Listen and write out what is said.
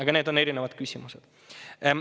Kuid need on juba muud küsimused.